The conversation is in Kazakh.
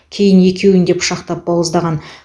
кейін екеуін де пышақпен бауыздаған